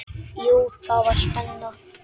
Jú, það var spenna.